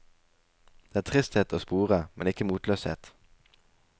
Det er tristhet å spore, men ikke motløshet.